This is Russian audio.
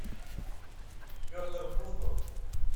петр буслов